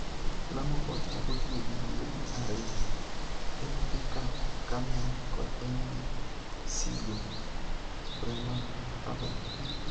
Lamu Port chako tiyo gi yiedhi ariyo - Mv Cap Carmel kod Mv Seago Bremerhavel.